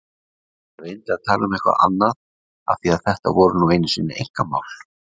Ég reyndi að tala um eitthvað annað af því þetta voru nú einu sinni einkamál.